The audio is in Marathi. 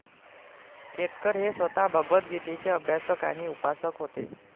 केतकर हे स्वतः भगवतगीतेचे अभ्यासक आणि उपासक होते